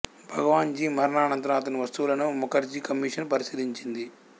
భగవాన్ జీ మరణానంతరం అతని వస్తువులను ముఖర్జీ కమిషన్ పరిశీలించింది